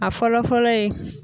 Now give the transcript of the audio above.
A fɔlɔ fɔlɔ ye